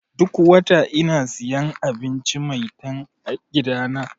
Duk wata ina siyan abinci 'Maitan' a gidana.